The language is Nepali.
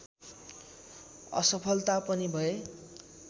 असफलता पनि भए